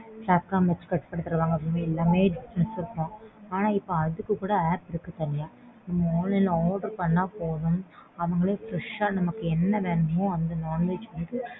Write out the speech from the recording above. cut பண்ணி தருவாங்க. எல்லாமே difference இருக்கும் ஆனா இப்போ அதுக்கு கூட app இருக்கு தனியா நம்ம online ல order பண்ணா போதும். அவங்களே fresh ஆ நமக்கு என்ன வேணுமோ அந்த modulation க்கு.